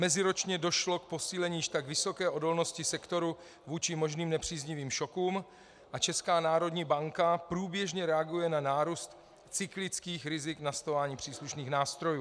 Meziročně došlo k posílení již tak vysoké odolnosti sektoru vůči možným nepříznivým šokům a Česká národní banka průběžně reaguje na nárůst cyklických rizik nastolováním příslušných nástrojů.